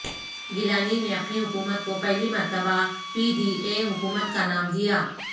گیلانی نے اپنی حکومت کو پہلی مرتبہ پی ڈی اے حکومت کا نام دیا